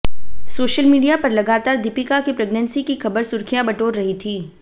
social media पर लगातार दीपिका की प्रेग्नेंसी की खबर सुर्खियां बटोर रही थी